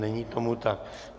Není tomu tak.